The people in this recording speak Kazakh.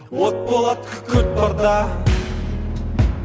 от болады күкірт барда